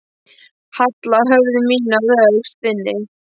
Halla höfði mínu að öxl þinni.